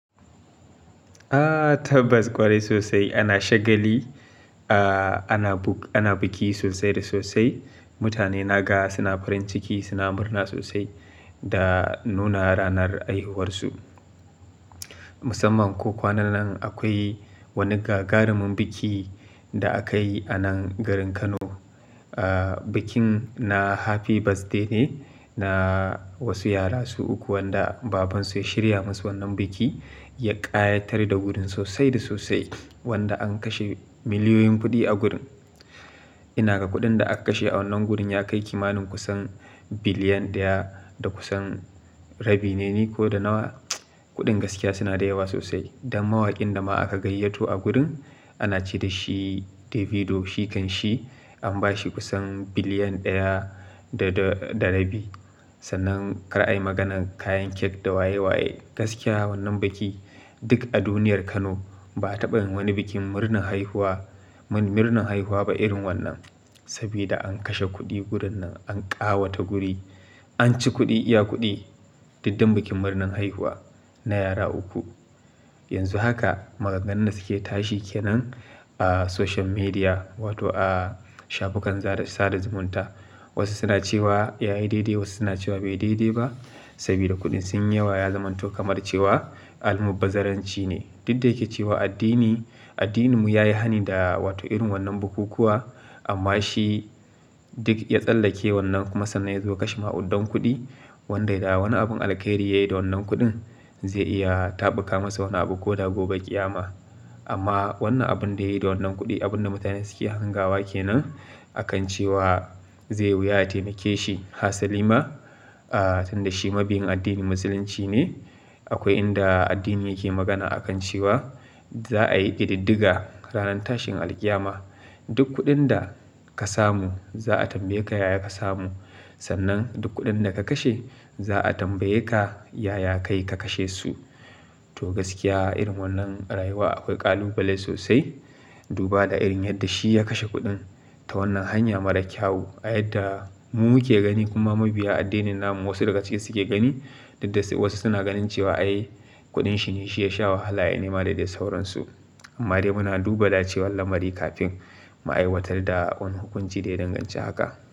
A tabas kwarai sosai ana shagali, a ana buk, ana biki sosai da sosai. Mutane naga suna farin ciki, suna murna sosai da nuna ranar haihuwarsu. Musamman ko kwanannan akwai wani gagarumin biki da aka yi a nan garin Kano. Ah bikin na Happy Birthday ne, na wasu yara su uku wanda babansu ya shirya masu wannan bikin ya ƙayatar da gurin sosai da sosai, wanda an kashe miliyoyin kuɗi a gurin. Ina ga kuɗin da aka kashe a wannan gurin ya kai kimanin kusan biliyan ɗaya da kusan rabi ne ko da nawa. Kuɗin gaskiya suna da yawa sosai. Don mawakin da ma aka gayyato a gurin ana ce da shi Davido, shi kanshi an bashi kusan biliyan ɗaya da da rabi. Sannan kar a yi maganan kayan cake da waye waye. Gaskiya wannan bikin duk a duniyar Kano ba a taɓa yin wani bikin murnar haihuwa, murnar haihuwa ba irin wannan. Sabida an kashe kuɗi gurin nan, an ƙayata guri anci kuɗi iya kuɗi. Duk dan bikin murnar haihuwa na yara uku. Yanzu haka maganganun da suke tashi kenan a social media wato a shafukan sada zumunta. Wasu suna cewa ya yi daidai, wasu suna cewa bai yi daidai ba. Saboda kuɗin sun yi yawa, ya zamanto kamar cewa almubazzaranci ne. Duk da yake cewa addini, addininmu ya yi hani da wato irin wannan bukukuwa amma shi duk ya tsallake wannan kuma sannan ya zo ya kashe ma'udan kuɗi wanda da wani abun alkhairi ya yi da wannan kuɗin zai iya taɓuka masa wani abu ko da gobe ƙiyama. Amma wannan abun da ya yi da wannan kuɗin, abun da mutane suke hangawa kenan akan cewa zai wuya ya taimake shi. Hasalima tunda shi mabiyn addinin Musulunci ne. Akwai inda addini yake magana akan cewa zaa yi kididdiga ranan tashin alkiyama. Duk kuɗin da ka samu za a tambaye ka yaya ka samu. Sannan duk kuɗin da ka kashe za a tambaye ka yaya ka yi ka kashe su. To gaskiya irin wannan rayuwa akwai ƙalubale sosai. Duba da irin yadda shi ya kashe kuɗin ta wannan hanya mara kyau. A yadda mu muke gani kuma mabiya addinin namu wasu daga cikin su ke gani, duk da wasu suna ganin cewa ai kuɗin shi ne shi ya sha wahala ya nema da dai sauransu. Amma dai muna duba da cewa lamari kafin mu aiwatar da wani hukunci da ya danganci haka.